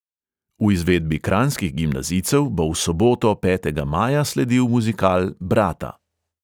V izvedbi kranjskih gimnazijcev bo v soboto, petega maja, sledil muzikal brata.